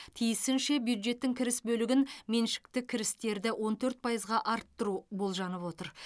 тиісінше бюджеттің кіріс бөлігін меншікті кірістерді он төрт пайызға арттыру болжанып отыр